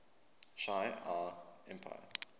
shi ar empire